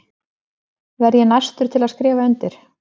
Verð ég næstur til að skrifa undir?